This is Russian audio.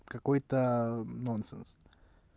какой-то нонсенс